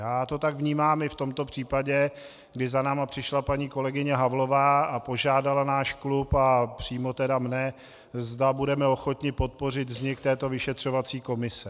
Já to tak vnímám i v tomto případě, kdy za námi přišla paní kolegyně Havlová a požádala náš klub, a přímo tedy mě, zda budeme ochotni podpořit vznik této vyšetřovací komise.